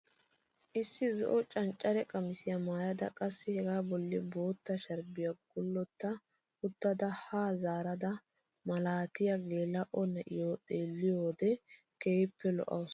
Issi zo'o cancare qamisiyaa maayada qassi hegaa bolli bootta sharbbiyaa guletta uttada yaa zaarada malaatiyaa geela'o na'iyaa xeelliyoo owode keehippe lo"awus!